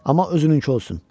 Amma özününkü olsun.